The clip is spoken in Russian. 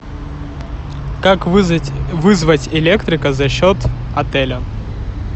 как вызвать электрика за счет отеля